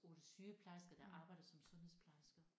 8 sygeplejersker der arbejder som sundhedsplejersker